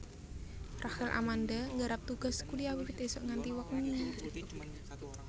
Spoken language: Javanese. Rachel Amanda nggarap tugas kuliah wiwit isuk nganti wengi